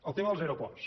el tema dels aeroports